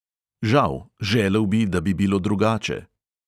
Žal, želel bi, da bi bilo drugače.